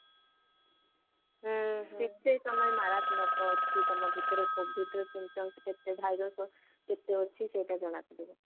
କେତେ ତମର ମାରାତ୍ମକ ଅଛି ତମ ଭିତରେ covid ର syntoms କେତେ virus କେତେ ଅଛି ସେଇଟା ଜଣାପଡିବ